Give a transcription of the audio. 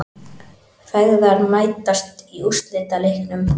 Feðgar mætast í úrslitaleiknum